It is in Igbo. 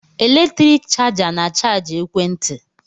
Eletriki chaja na-achajị ekwe nti